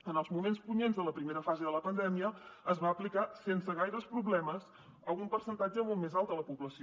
en els moments punyents de la primera fase de la pandèmia es va aplicar sense gaires problemes a un percentatge molt més alt de la població